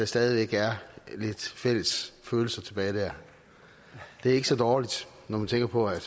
stadig væk er lidt fælles følelser tilbage der det er ikke så dårligt når man tænker på at